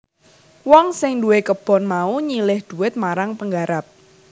Wong sing duwé kebon mau nyilih dhuwit marang penggarap